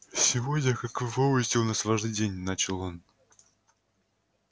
сегодня как вы помните у нас важный день начал он